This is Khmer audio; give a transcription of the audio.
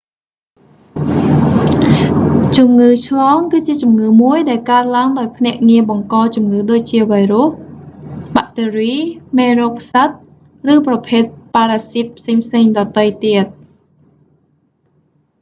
ជំងឺឆ្លង គឺជាជំងឺមួយដែលកើតឡើងដោយភ្នាក់ងារបង្កជំងឺដូចជា វីរុស បាក់តេរី មេរោគផ្សិត ឬប្រភេទប៉ារ៉ាស៊ីតផ្សេងៗដទៃទៀត